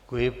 Děkuji.